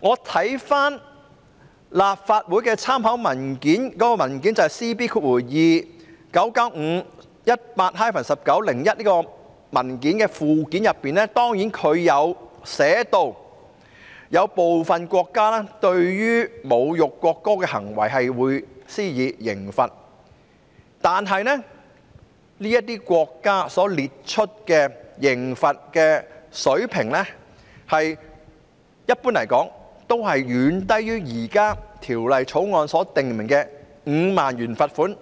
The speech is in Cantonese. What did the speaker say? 我翻閱了立法會文件 CB2995/18-19 的附件，當中列出其他國家對侮辱國歌的行為所施加的刑罰，但這些國家的刑罰水平，一般來說也遠低於現時《條例草案》所訂明的5萬元罰款